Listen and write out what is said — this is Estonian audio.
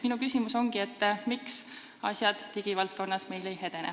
Minu küsimus ongi, miks meil digivaldkonnas asjad ei edene.